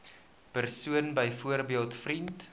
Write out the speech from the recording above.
persoon byvoorbeeld vriend